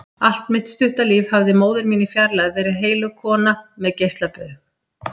Allt mitt stutta líf hafði móðir mín í fjarlægð verið heilög kona með geislabaug.